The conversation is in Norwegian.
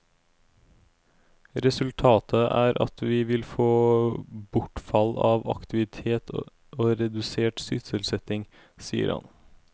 Resultatet er at vi vil få bortfall av aktivitet og redusert sysselsetting, sier han.